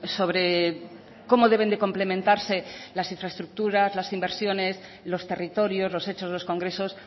sobre cómo deben de complementarse las infraestructuras las inversiones los territorios los hechos los congresos